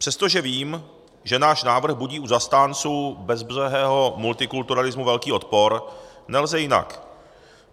Přestože vím, že náš návrh budí u zastánců bezbřehého multikulturalismu velký odpor, nelze jinak.